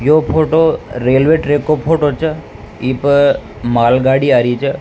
यो photo railway track को photo छ ई पे मालगाड़ी आ री है।